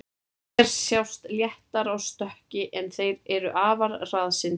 Hér sjást léttar á stökki, en þeir eru afar hraðsyndir.